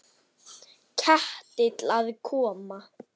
Ketill að koma?